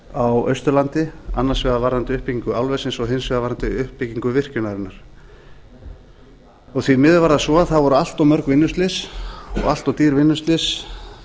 á austurlandi annars vegar varðandi uppbyggingu álversins og hins vegar varðandi uppbyggingu virkjunarinnar því miður var það svo að það voru allt of mörg vinnuslys og allt of dýr vinnuslys